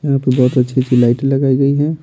यहां पे बहुत अच्छी-अच्छी लाइट लगाई गई है।